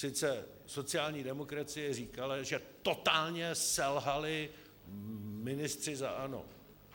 Sice sociální demokracie říkala, že totálně selhali ministři za ANO.